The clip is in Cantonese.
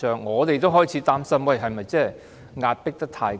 我們也開始擔心，是否把他迫得太緊？